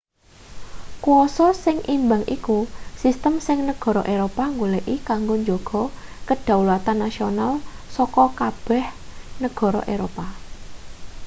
kwasa sing imbang iku sistem sing negara eropa goleki kanggo njaga kedaulatan nasional saka kabeg negara eropa